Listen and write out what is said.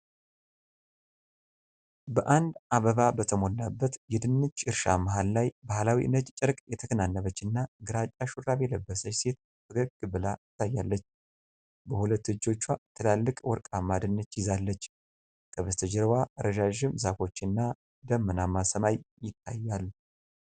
በአንድ አበባ በሞላበት የድንች እርሻ መሃል ላይ ባህላዊ ነጭ ጨርቅ የተከናነበችና ግራጫ ሹራብ የለበሰች ሴት ፈገግ ብላ ትታያለች። በሁለት እጆቿ ትላልቅ ወርቃማ ድንች ይዛለች፤ ከበስተጀርባዋ ረዣዥም ዛፎች እና ደመናማ ሰማይ ይታያል።